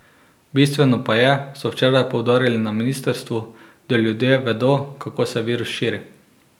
Bistveno pa je, so včeraj poudarili na ministrstvu, da ljudje vedo, kako se virus širi.